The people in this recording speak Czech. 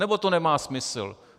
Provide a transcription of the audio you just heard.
Nebo to nemá smysl?